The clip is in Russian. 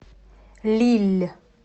лилль